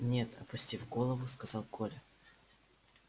нет опустив голову сказал коля